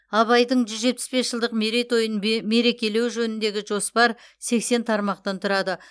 абайдың жүз жетпіс бес жылдық мерейтойын ме мерекелеу жөніндегі жоспар сексен тармақтан тұрады